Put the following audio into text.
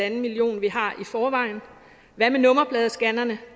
en millioner vi har i forvejen hvad med nummerpladescannerne